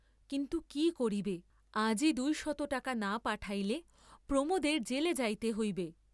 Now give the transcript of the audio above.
কিন্তু কি করিবে, আজই দুই শত টাকা না পাঠাইলে প্রমােদের জেলে যাইতে হইবে!